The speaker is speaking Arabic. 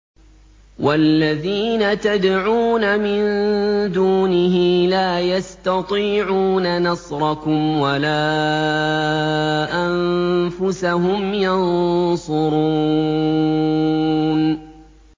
وَالَّذِينَ تَدْعُونَ مِن دُونِهِ لَا يَسْتَطِيعُونَ نَصْرَكُمْ وَلَا أَنفُسَهُمْ يَنصُرُونَ